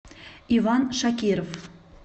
иван шакиров